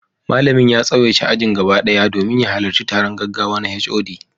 Malamin ya tsawaita ajin gaba ɗaya domin ya halarci taron gaggawa na HOD.